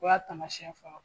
O y'a tamasiɲɛ fɔlɔ